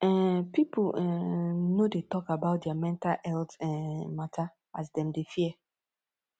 um pipu um no dey tok about their mental healt um mata as dem dey fear